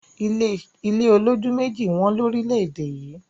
ilé olójú mẹ́ẹ̀ji wón lórílèèdè yí